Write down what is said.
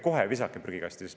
Ärge visake kohe prügikasti!